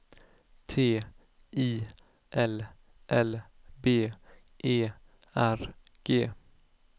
T I L L B E R G